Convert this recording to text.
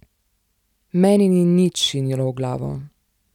Meni ni nič šinilo v glavo.